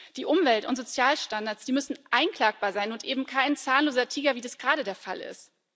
Die Umwelt und Sozialstandards müssen einklagbar sein und eben kein zahnloser Tiger, wie das gerade der Fall ist.